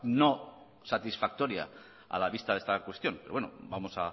no satisfactoria a la vista de esta cuestión pero bueno vamos